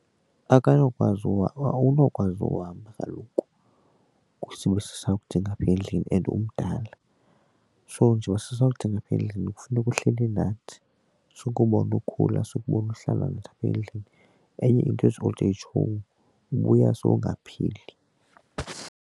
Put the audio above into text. Akanokwazi awunokwazi uhamba kaloku sibe sisakudinga apha endlini and umdala. So nje uba sisakudinga apha endlini kufuneka uhleli nathi sikubona ukhula sikubone uhlala nathi apha endlini. Enye into ezi old age home ubuya sowungaphili.